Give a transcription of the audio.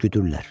Düdürlər.